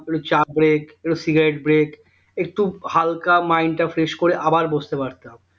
একটু চা করে একটু সিগারেটে break একটু হালকা mind টা fresh করে আবার বসতে পারতাম